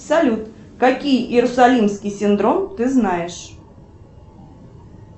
салют какие иерусалимский синдром ты знаешь